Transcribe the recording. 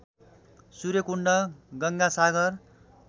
Surya Kund Ganga Sagar